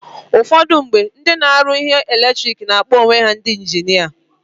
Ụfọdụ mgbe, ndị na-aruzi ihe eletiriki na-akpọ onwe ha ndi injinia.